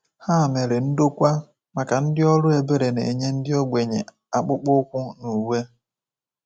Ha mere ndokwa maka ndị ọrụ ebere na-enye ndị ogbenye akpụkpọ ụkwụ na uwe.